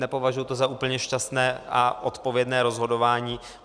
Nepovažuji to za úplně šťastné a odpovědné rozhodování.